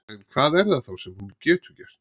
En hvað er það þá sem hún getur gert?